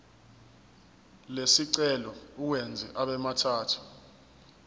lesicelo uwenze abemathathu